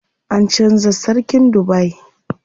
An canza sarkin Dubai.